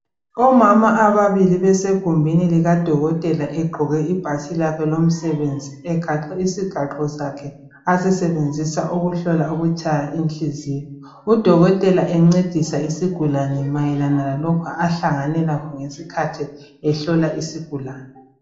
Omama ababili besegumbini likadokotela, egqoke ibhatshi lakhe lomsebenzi. Egaxe isigaxo sakhe asisebenzisa ukuhlola ukutshaya inhliziyo. Udokotela encedisa isigulane mayelana lalokho ahlangane lakho ngeskhathi ehlola isigulane.